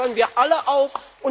Dazu fordern wir alle auf!